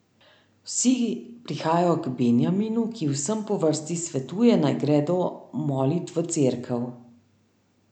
Vsi prihajajo k Benjaminu, ki vsem po vrsti svetuje, naj gredo molit v cerkev.